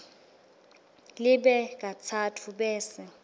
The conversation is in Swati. libe katsatfu bese